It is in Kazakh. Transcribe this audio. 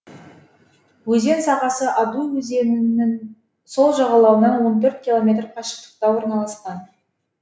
өзен сағасы адуй өзенінің сол жағалауынан он төрт километр қашықтықта орналасқан